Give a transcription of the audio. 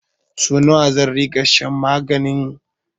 Sau nawa zan ringa shan maganin?